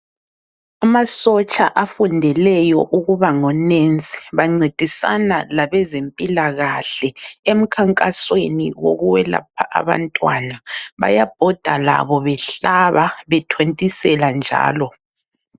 Amasotsha afundeleyo ukuba ngo nesi bancedisana labezempilakahle emkhankasweni wokwelapha abantwana .Bayabhoda labo behlaba bethontisela njalo.